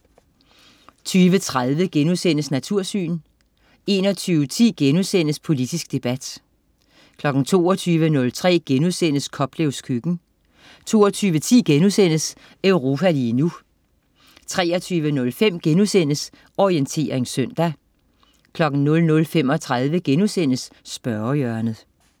20.30 Natursyn* 21.10 Politisk debat* 22.03 Koplevs køkken* 22.10 Europa lige nu* 23.05 Orientering søndag* 00.35 Spørgehjørnet*